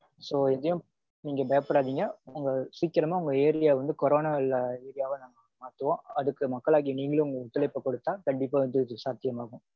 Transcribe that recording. So எதையும் நீங்க பயப்படாதீங்க. சீக்கிரமா உங்க area வந்து கொரோனா இல்லாத area வா மாத்துவோம். அதுக்கு மக்களாகிய நீங்களும் ஒத்துழைப்பு கொடுத்தா கண்டிப்பா வந்து இது சாத்தியம் ஆகும்.